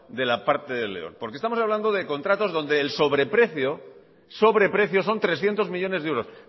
de la parte del león porque estamos hablando de contratos donde el sobreprecio son trescientos millónes de euros